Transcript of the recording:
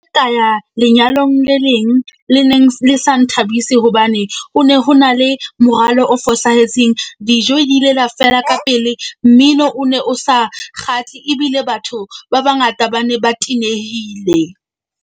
Ka ya lenyalong le leng le neng le sa nthabise hobane o ne ho na le moralo o fosahetseng. Dijo di ile la fela ka pele. Mmino o ne o sa kgatle ebile batho ba bangata ba ne ba tenehile.